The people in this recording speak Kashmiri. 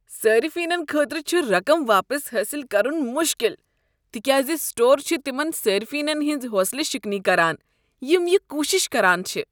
صٲرفینن خٲطرٕ چھ رقم واپس حأصل کرن مشکل تکیاز سٹور چھ تمن صٲرفینن ہنٛز حوصلہٕ شکنی کران یم یہِ کوشش کران چھ۔